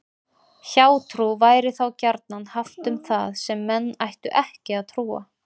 Hjátrú væri þá gjarnan haft um það sem menn ættu ekki að trúa.